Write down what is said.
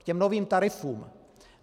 K těm novým tarifům.